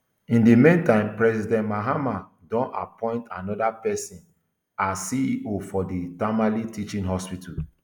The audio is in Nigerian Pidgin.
in di meantime president mahama don appoint anoda pesin as ceo for di tamale teaching hospital